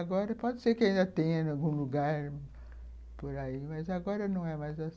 Agora pode ser que ainda tenha em algum lugar por aí, mas agora não é mais assim.